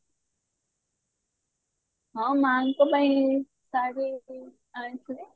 ହଁ ମାଆଙ୍କ ପାଇଁ ଶାଢୀ ଆଣିଥିଲେ